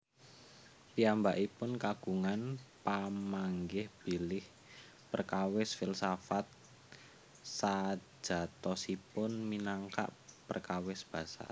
Piyambakipun kagungan pamanggih bilih perkawis filsafat sajatosipun minangka perkawis basa